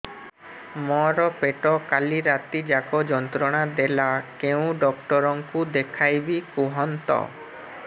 ମୋର ପେଟ କାଲି ରାତି ଯାକ ଯନ୍ତ୍ରଣା ଦେଲା କେଉଁ ଡକ୍ଟର ଙ୍କୁ ଦେଖାଇବି କୁହନ୍ତ